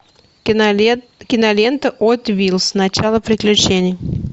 кинолента хот вилс начало приключений